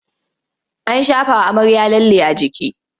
An shafawa amarya lalle a jiki.